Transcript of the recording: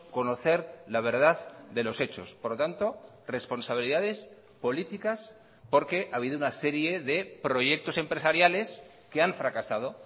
conocer la verdad de los hechos por lo tanto responsabilidades políticas porque ha habido una serie de proyectos empresariales que han fracasado